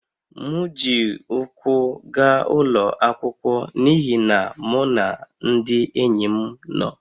M ji ụkwụ gaa ụlọ akwụkwọ n’ihi na mụ na ndị enyi m nọ